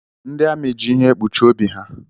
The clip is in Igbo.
Ndị amị jị ihe ekpuchi obi ha.